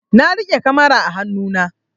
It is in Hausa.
Na riƙe kamara a hanu na